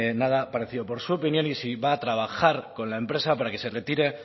nada parecido por su opinión y si va a trabajar con la empresa para que se retire